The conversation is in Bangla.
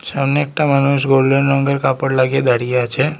সামনে একটা মানুষ গোল্ডেন রঙ্গের কাপড় লাগিয়ে দাঁড়িয়ে আছে।